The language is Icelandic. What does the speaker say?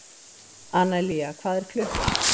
Analía, hvað er klukkan?